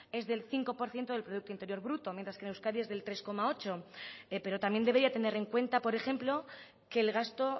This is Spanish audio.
es del cinco por ciento del producto interior bruto mientras que euskadi es del tres coma ocho pero también debería tener en cuenta por ejemplo que el gasto